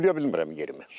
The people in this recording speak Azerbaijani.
Sulaya bilmirəm yerimi.